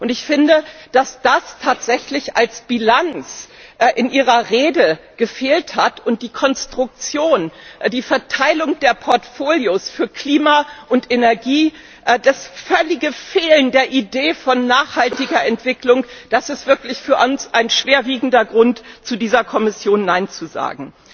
Ich finde, dass das tatsächlich als Bilanz in Ihrer Rede gefehlt hat, und auch die Konstruktion, die Verteilung der Portfolios für Klima und Energie, das völlige Fehlen der Idee von nachhaltiger Entwicklung, das ist wirklich ein schwerwiegender Grund für uns, zu dieser Kommission Nein zu sagen.